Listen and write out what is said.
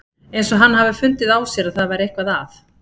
Eins og hann hafi fundið á sér að það væri eitthvað að.